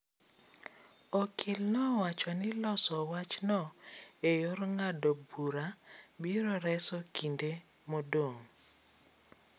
Okil nowacho ni loso wachno e yor ng'ado bura biro reso kinde modong.